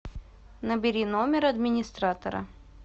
набери номер администратора